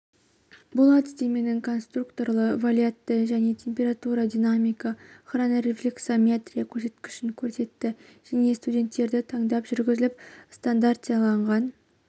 бұл әдістеменің конструкторлы валидтілігі дене температура динамика хронорефлексометрия көрсеткішін көрсетті және студенттерді таңдап жүргізіліп стандартизацияланған